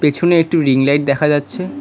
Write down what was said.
পেছনে একটি রিংলাইট দেখা যাচ্ছে।